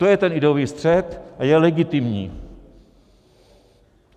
To je ten ideový střet, a je legitimní.